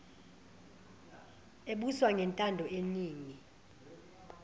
ebuswa ngentando yeningi